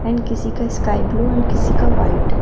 Pant किसी का sky blue and किसी का व्हाइट ।